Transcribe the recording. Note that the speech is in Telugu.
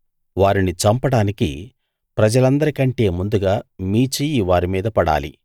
వారిని చంపడానికి ప్రజలందరి కంటే ముందుగా మీ చెయ్యి వారి మీద పడాలి